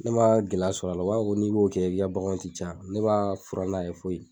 Ne ma gɛlɛya sɔrɔ a la u b'a ko n'i b'o kɛ i ka bagan ti caya ne b'a fura n'a ye foyi.